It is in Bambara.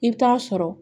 I bɛ taa sɔrɔ